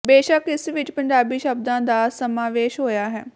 ਬੇਸ਼ੱਕ ਇਸ ਵਿਚ ਪੰਜਾਬੀ ਸ਼ਬਦਾਂ ਦਾ ਸਮਾਵੇਸ਼ ਹੋਇਆ ਹੈ